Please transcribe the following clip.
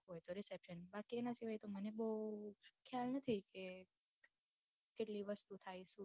બાકી મને તો બૌ ખ્યાલ નથી કે કેટલી વસ્તુ થાય છે